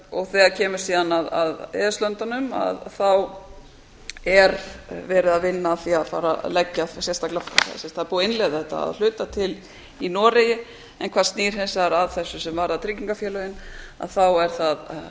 og þegar kemur síðan að e e s löndunum er verið að vinna að því að fara að leggja þetta sérstaklega sem sagt það er búið að innleiða þetta að hluta til í noregi en hvað snýr hins vegar að þessu sem varðar tryggingafélögin er það